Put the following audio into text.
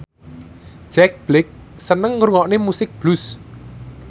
Jack Black seneng ngrungokne musik blues